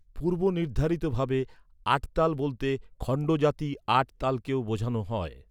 পূর্বনির্ধারিত ভাবে আট তাল বলতে খণ্ড জাতি আট তালকেও বোঝানো হয়।